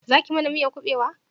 Za ki mana miyan kubewa?